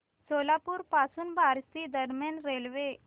सोलापूर पासून बार्शी दरम्यान रेल्वे